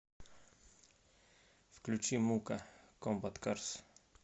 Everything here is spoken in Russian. включи мука комбат карс